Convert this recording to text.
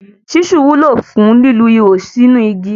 Ṣísù wúlò fún lílu ihò síínu igi.